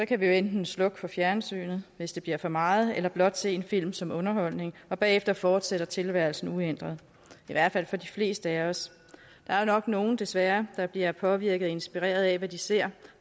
kan vi jo enten slukke for fjernsynet hvis det bliver for meget eller blot se en film som underholdning bagefter fortsætter tilværelsen uændret i hvert fald for de fleste af os der er nok nogle desværre der bliver påvirket og inspireret af hvad de ser